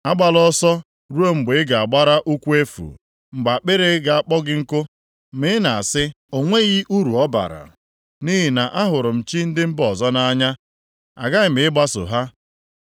Agbala ọsọ ruo mgbe ị ga-agbara ụkwụ efu, mgbe akpịrị ga-akpọ gị nku. Ma ị na-asị, ‘O nweghị uru ọ bara. Nʼihi na ahụrụ m chi ndị mba ọzọ nʼanya, aghaghị m ịgbaso ha.’